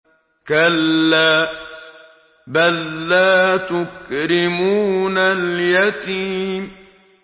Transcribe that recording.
كَلَّا ۖ بَل لَّا تُكْرِمُونَ الْيَتِيمَ